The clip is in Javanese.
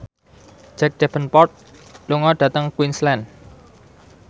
Jack Davenport lunga dhateng Queensland